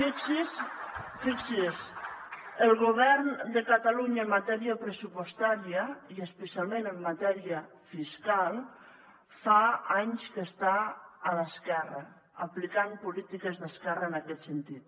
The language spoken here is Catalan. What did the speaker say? fixi s’hi el govern de catalunya en matèria pressupostària i especialment en matèria fiscal fa anys que està a l’esquerra aplicant polítiques d’esquerra en aquest sentit